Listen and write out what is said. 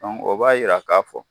o b'a yira k'a fɔ